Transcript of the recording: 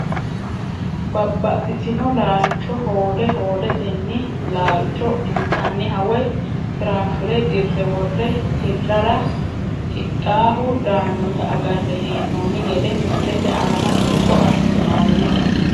Babaxitino laalacho hoode hoodeteni laalcho intaniha woyi firaafire dirre wore hirara hidhaahu daanota agare heenoni gede misilete aana buuxo asinooni.